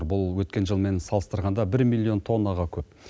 бұл өткен жылмен салыстырғанда бір миллион тоннаға көп